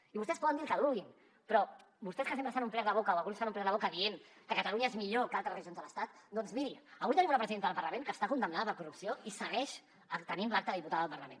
i vostès poden dir el que vulguin però vostès que sempre s’han omplert la boca o alguns s’han omplert la boca dient que catalunya és millor que altres regions de l’estat doncs mirin avui tenim una presidenta del parlament que està condemnada per corrupció i segueix tenint l’acta de diputada al parlament